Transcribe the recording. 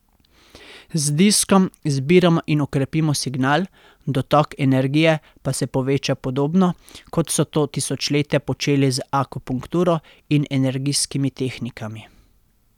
Z diskom zbiramo in okrepimo signal, dotok energije pa se poveča podobno, kot so to tisočletja počeli z akupunkturo in energijskimi tehnikami.